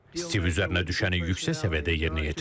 Stiv üzərinə düşəni yüksək səviyyədə yerinə yetirib.